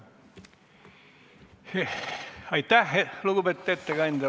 Aitäh, lugupeetud ettekandja!